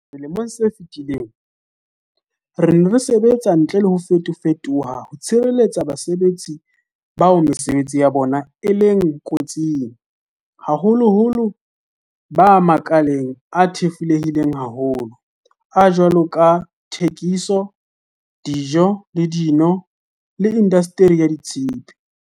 Selemong se fetileng, re ne re sebetsa ntle le ho fetofe toha ho tshireletsa basebetsi bao mesebetsi ya bona e leng ko tsing, haholoholo ba makaleng a thefulehileng haholo a jwalo ka a thekiso, dijo le dino le indastri ya tshepe.